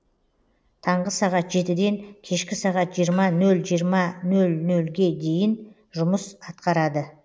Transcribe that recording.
таңғы сағат жетіден кешкі сағат жиырма нөл жиырма нөл нөлге дейін жұмыс атқарады